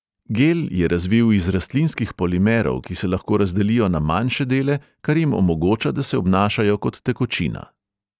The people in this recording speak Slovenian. Gel je razvil iz rastlinskih polimerov, ki se lahko razdelijo na manjše dele, kar jim omogoča, da se obnašajo kot tekočina.